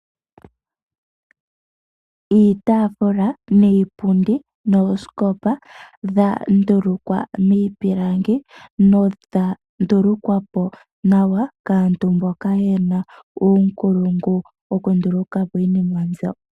Iitaafula, niipundi, noosikopa dha ndulukwa niipilangi nodha ndulukwapo nawa kaantu mboka ye na uunkulungu wokundulukapo iinima mbyo.